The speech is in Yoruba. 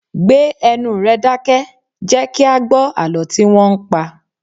Gbé ẹnu rẹ dákẹ́! Jẹ kí a gbó àlọ́ tí wọn ń pa!